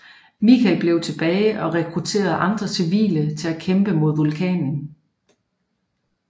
Michael bliver tilbage og rekrutterer andre civile til at kæmpe mod vulkanen